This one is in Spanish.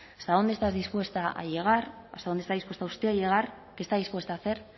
hasta dónde estás dispuesta a llegar hasta dónde está usted dispuesta usted a llegar qué está dispuesta a hacer